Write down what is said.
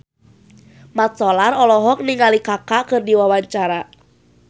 Mat Solar olohok ningali Kaka keur diwawancara